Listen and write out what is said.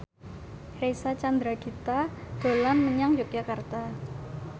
Reysa Chandragitta dolan menyang Yogyakarta